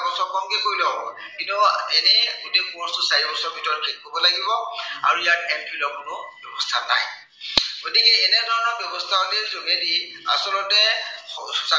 কমকে কৰিলেও হব। কিন্তু এনেই গোটেই course টো চাৰিবছৰৰ ভিতৰত শেষ কৰিব লাগিব আৰু ইয়াত M phil ৰ কোনো ব্য়ৱস্থা নাই। গতিকে এনে ধৰনৰ ব্য়ৱস্থাৱলীৰ যোগেদি আচলতে